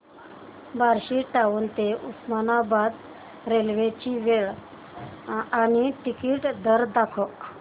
Barshi town ते Osmanabad railway ची वेळ आणि तिकीट दर दाखव